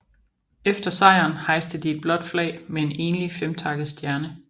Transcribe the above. Efter sejren hejste de et blåt flag med en enlig femtakket stjerne